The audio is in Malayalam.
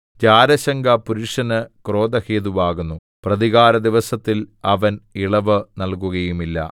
ജാരശങ്ക പുരുഷന് ക്രോധഹേതുവാകുന്നു പ്രതികാരദിവസത്തിൽ അവൻ ഇളവ് നൽകുകയില്ല